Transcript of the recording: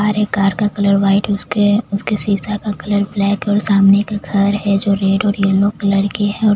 सारे कार का colour white उसके शीशा का कलर ब्लैक और सामने एक घर है जो रेड और येलो कलर की है।